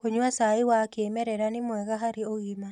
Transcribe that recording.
Kũnyua cai wa kĩmerera nĩ mwega harĩ ũgima